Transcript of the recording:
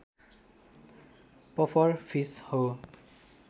puffer fish हो